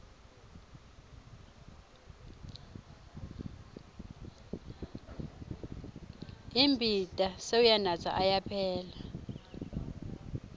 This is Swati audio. imbita sewuyanatsa ayaphela